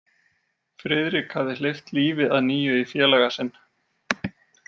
Friðrik hafði hleypt lífi að nýju í félaga sinn.